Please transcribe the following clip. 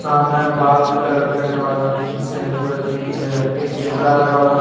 सामने बाल के कलर करने वाले की शैंपू रखी हुई है एक कैमरा लगा हुआ है।